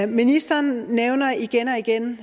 ministeren nævner igen og igen